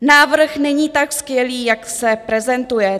Návrh není tak skvělý, jak se prezentuje.